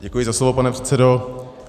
Děkuji za slovo, pane předsedo.